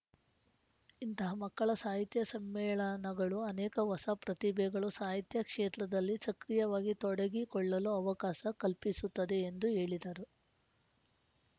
ಇಂತಹ ಮಕ್ಕಳ ಸಾಹಿತ್ಯ ಸಮ್ಮೇಳನಗಳು ಅನೇಕ ಹೊಸ ಪ್ರತಿಭೆಗಳು ಸಾಹಿತ್ಯ ಕ್ಷೇತ್ರದಲ್ಲಿ ಸಕ್ರಿಯವಾಗಿ ತೊಡಗಿಕೊಳ್ಳಲು ಅವಕಾಸ ಕಲ್ಪಿಸುತ್ತದೆ ಎಂದು ಹೇಳಿದರು